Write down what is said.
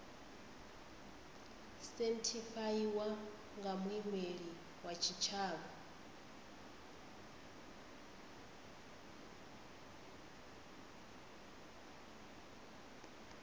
sethifaiwa nga muimeli wa tshitshavha